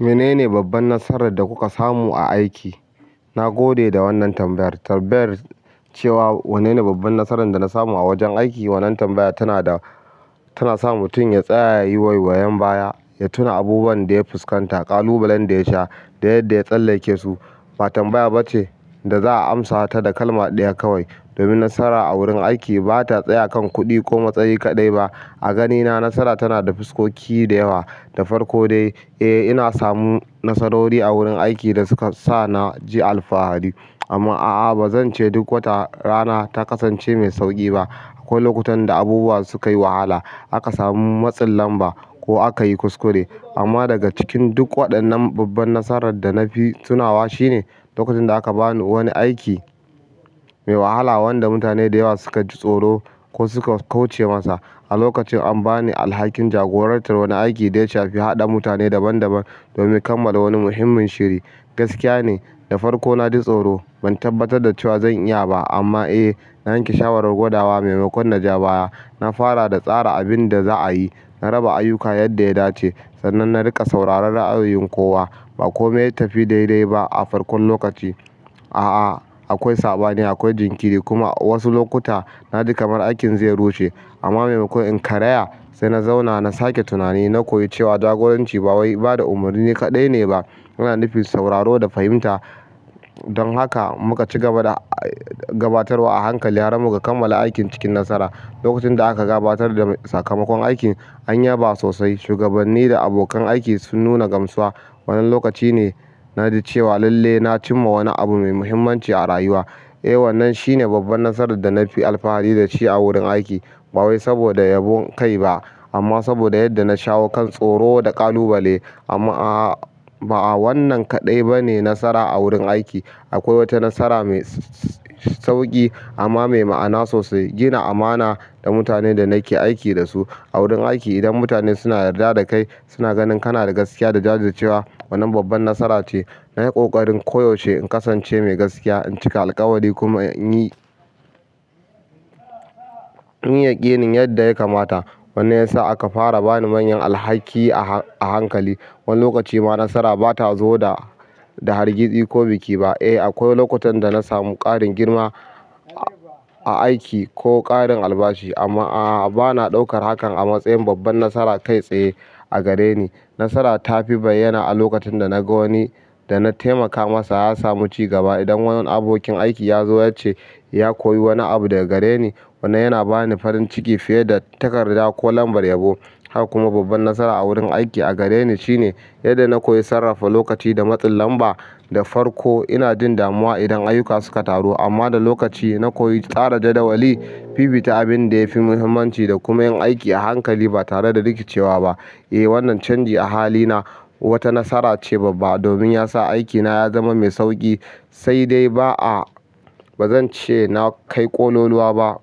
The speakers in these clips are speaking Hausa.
Menene babban nasarar da kuka samu a aiki? Na gode da wannan tambayar. Tambayar cewa wannene babban nasarar da na samu a wajen aiki, wannan tambaya tana da, tana sa mutum ya tsaya, ya yi waiwayen baya, ya tuna abubuwan da ya fuskanta, ƙalubalen da ya sha da yadda ya tsallake su. Ba tambaya bace da za'a amsa ta da kalma ɗaya kawai. Domin nasara a wurin aiki ba ta tsaya a kan kuɗi ko matsayi kaɗai ba. A gani na nasara tana da fuskoki da yawa, da farko dai eh, ina samu nasarori a wurin aiki da suka sa na ji alfahari. Amma a'a ba zan ce duk wata rana ta kasance mai sauƙi ba. Ko lokutan da abubuwa sukai wahala, aka samu matsin lamba ko akayi kuskure amma daga cikin duk waɗannan babban nasarar da na fi tunawa shine, lokacin da aka ba ni wani aiki mai wahala wanda mutane da yawa suka ji tsoro ko suka kauce masa. A lokacin an ba ni alhakin jagorantar wani aiki da ya shafi haɗa mutane daban-daban domin kammala wani muhimmin shiri. Gaskiya ne, da farko na ji tsoro. Ban tabbatar da cewa zan iya ba. Amma eh, na yanke shawarar godawa maimakon naji baya. Na fara da tsara abin da za'a yi, na raba ayyuka yadda ya dace sannan na riƙa sauraron ra'ayin kowa. Ba komai ya tafi daidai ba a farkon lokaci. A'a, akwai saɓani, akwai jinkiri kuma wasu lokuta na ji kamar aikin zai rushe. Amma maimakon in karaya, sai na zauna na sake tunani. Na koyi cewa jagoranci ba wai bada umarni kaɗai ne ba. Yana nufin sauraro da fahimta. Don haka muka ci gaba da gabatarwa a hankali har muka kammala aikin cikin nasara. Lokacin da aka gabatar da sakamakon aikin, an yaba sosai. Shugabanni da abokan aiki sun nuna gamsuwa. Wannan lokaci ne na ji cewa lalle na cimma wani abu mai muhimmanci a rayuwa. Eh, wannan shine babban nasarar da na fi alfahari da shi a wurin aiki. Ba wai saboda yabon kai ba amma saboda yadda na shawo kan tsoro da ƙalubale. Amma a'a ba a wannan kaɗai bane nasara a wurin aiki. Akwai wata nasara mai sauƙi amma mai ma'ana sosai. Gina amana da mutane da nake aiki da su. A wurin aiki idan mutane suna yarda da kai, suna ganin kana da gaskiya da jajircewa, wannan babban nasara ce. Na yi ƙoƙarin ko yaushe in kasance mai gaskiya, in cika alƙawari kuma in yi yi, in yi yaƙinin yadda ya kamata. Wannan ya sa aka fara bani manyan alhaki a hankali. Wani lokaci ma nasara ba ta zo da, da hargitsi ko biki ba. Eh akwai lokutan dana samu ƙarin girma a aiki ko ƙarin albashi amma ah bana ɗaukan hakan a matsayin babban nasara kai tsaye a gare ni. Nasara ta fi bayyana a lokacin da na ga wani da na taimaka masa ya samu cigaba. Idan wani abokin aiki ya zo ya ce ya koyi wani abu daga gare ni, wannan yana ba ni farin ciki fiye da takarda ko lambar yabo. Haka kuma babban nasara a wurin aiki a gare ni shine yadda na koyi sarrafa lokaci da matsin lamba. Da farko ina jin damuwa idan ayyuka suka taru amma da lokaci na koyi tsara jadawali, fifita abin da ya fi muhimmanci da kuma yin aiki a hankali ba tare da rikicewa ba. Eh, wannan canji a halina wata nasara ce babba domin ya sa aikina ya zama mai sauƙi. Sai dai ba'a, ba zan ce na kai ƙonoluwa ba.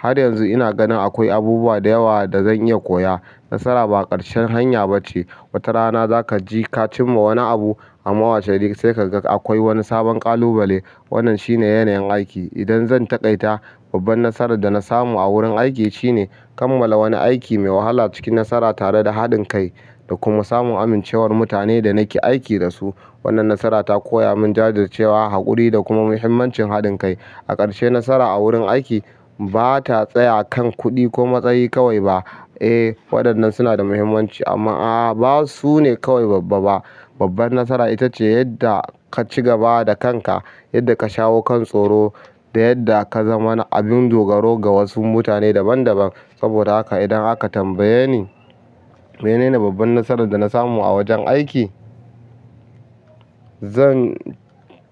Har yanzu ina ganin akwai abubuwa da yawa da zan iya koya. Nasara ba ƙarshen hanya ba ce. Wata rana za ka ji ka cimma wani abu amma washe gari sai ka ga akwai wani sabon ƙalubale. Wannan shine yanayin aiki. Idan zan taƙaita, babban nasarar da na samu a wurin aiki shine, kammala wani aiki mai wahala cikin nasara tare da haɗin kai da kuma samun amincewar mutanen da nake aiki da su. Wannan nasara ta koya mun jajircewa, haƙuri da kuma muhimmancin haɗin kai. A ƙarshe nasara a wurin aiki ba ta tsayawa kan kuɗi ko matsayi kawai ba. Eh, waɗannan suna da muhimmanci amma a'a ba su ne kawai babba, babban nasara ita ce yadda ka ci gaba da kanka, yadda ka shawo kan tsoro da yadda ka zama na abin dogaro ga wasu mutane daban-daban. Saboda haka idan aka tambaye ni menene babban nasarar da na samu a wajen aiki, zan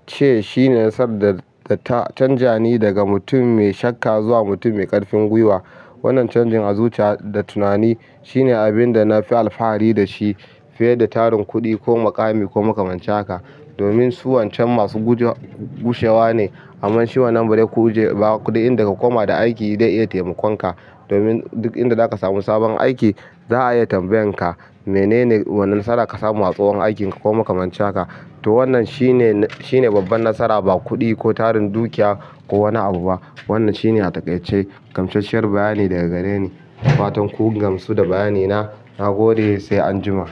ce shine nasarar da ta canja ni daga mutum mai shakka zuwa mutum mai ƙarfin gwiwa. Wannan canjin zuciya da tunani shine abin da na fi alfahari da shi fiye da tarin kuɗi ko muƙami ko makaman cin haka. Domin su wancan masu guje, gushewa ne. Amman shi wannan barai kuje ba kuɗi inda ka koma da aiki zai iya taimakon ka. Domin duk inda zaka samu sabon aiki za a iya tambayan ka menene wane nasara ka samu a tsohon aikin ka ko makaman cin haka. To wannan shine, shine babban nasara ba kuɗi ko tarin dukiya ko wani abu ba. Wannan shine a taƙaice gamshash shiyar bayani daga gare ni. Fatan kun gamsu da bayani na. Na gode sai anjima.